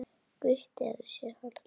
Gutti hefur séð hana bera.